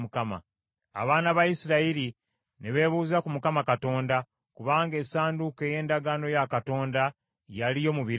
Abaana ba Isirayiri ne beebuuza ku Mukama Katonda, kubanga Essanduuko ey’Endagaano ya Katonda yaliyo mu biro ebyo,